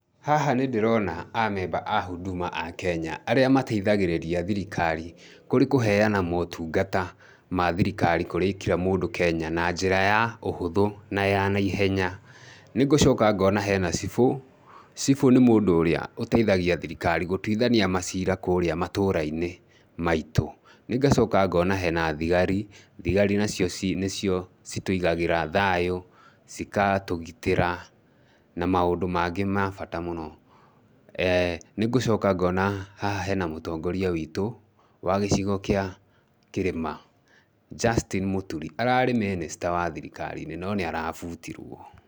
Haha nĩ ndĩrona amemba a Huduma a Kenya arĩa mateithagĩrĩria thirikari kũrĩ kũheana motungata ma thirikari kũrĩ kira mũndũ Kenya na njĩra ya ũhũthũ na ya na ihenya. Nĩ ngũcoka ngona he na cibũ, cibũ nĩ mũndũ ũrĩa ũteithagia thirikari gũtuithania maciira kũrĩa matũra-inĩ maitũ. Nĩ ngacoka ngona he na thigari. Thigari nacio nĩcio citũigagĩra thayũ, cikatũgitĩra, na maũndũ mangĩ ma bata mũno. Nĩ ngũcoka ngona haha he na mũtongoria witũ, wa gĩcigo kĩa kĩrĩma, Justin Mũturi, ararĩ minister wa thirikari-inĩ no nĩ arabutirwo.